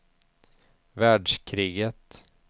världskriget